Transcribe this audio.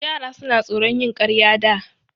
Yara suna tsoron yin ƙarya da.